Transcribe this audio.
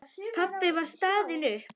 Pabbi var staðinn upp.